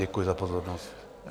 Děkuji za pozornost.